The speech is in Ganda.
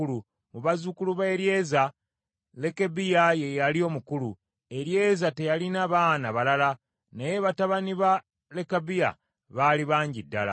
Mu bazzukulu ba Eryeza, Lekabiya ye yali omukulu. Eryeza teyalina baana balala, naye batabani ba Lekabiya baali bangi ddala.